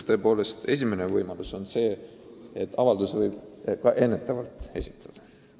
Üks võimalus on, et avalduse võib ka ennetavalt esitada.